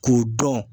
K'u dɔn